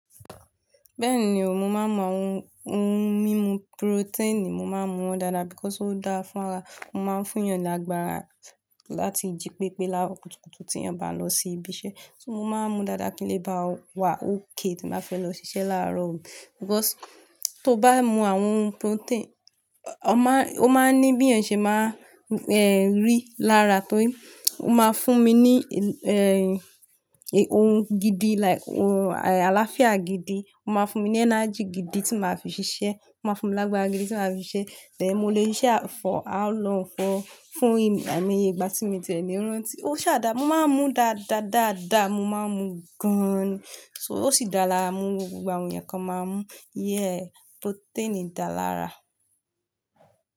Bẹ́ẹ̀ni o, mo máa ń mu àwọn ohun mímu protein, mo máa ń mu wọn dáadáa because ó dáa fún ara. O máa ń fún yàn lágbára láti jí pépé lára kùtùkùtù tí yan bá n lọ sí ibi iṣẹ́. So mo máa ń mu dáadáa kí n lè bá wà okay tí n bá fẹ́ lọ ṣiṣẹ́ láàrọ̀ o. Because tó bá mu àwọn ohun protein, ọ má- ọ máa ń ní bí yan ṣe máa n rí lára tó. Ó máa fún mi ní, ehn, ohun gidi like ohun àlàáfíà gidi, ó máa fún mi ní energy gidi tí màá fi ṣiṣẹ́, ó máa fún mi lágbára gidi tí màá fi ṣiṣẹ́, then mo lè ṣiṣẹ́ for how long for fún ai mo iye ìgbà tí mi tie ni rántí. Ó ṣa dà, mo máa ń mu dáadáa, dáadáa mo máa ń mu gan-an ni. So ó sì dára mú gbogbo àwọn eeyàn kan máa mú. Yeah, protein da lara.